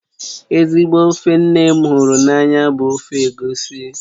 Ezigbo ofe nne m hụrụ n'anya bụ ofe egusi